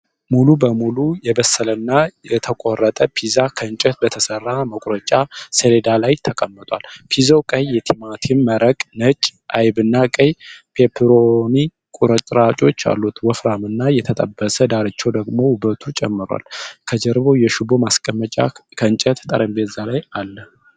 ሙሉ በሙሉ የበሰለና የተቆረጠ ፒዛ ከእንጨት በተሰራ መቁረጫ ሰሌዳ ላይ ተቀምጧል። ፒዛው ቀይ የቲማቲም መረቅ፣ ነጭ አይብና ቀይ ፔፐሮኒ ቁርጥራጮች አሉት። ወፈራምና የተጠበሰ ዳርቻው ደግሞ ውበቱን ጨምሯል። ከጀርባው የሽቦ ማስቀመጫ ከእንጨት ጠረጴዛ ላይ አለ።